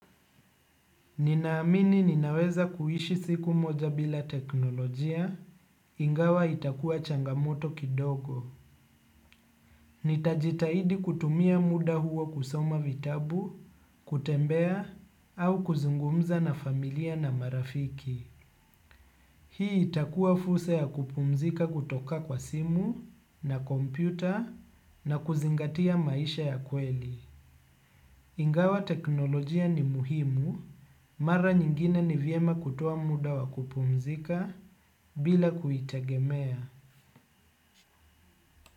Ninaamini ninaweza kuishi siku moja bila teknolojia, ingawa itakua changamoto kidogo. Nitajitahidi kutumia muda huo kusoma vitabu, kutembea, au kuzungumza na familia na marafiki. Hii itakua fursa ya kupumzika kutoka kwa simu na kompyuta na kuzingatia maisha ya kweli. Ingawa teknolojia ni muhimu, mara nyingine ni vyema kutoa muda wa kupumzika bila kuitegemea.